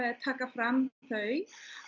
taka fram þau